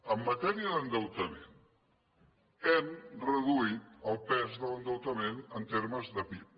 en matèria d’endeutament hem reduït el pes de l’endeutament en termes de pib